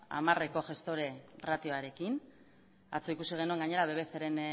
hamarreko gestore ratioarekin atzo ikusi genuen gainera bbc ren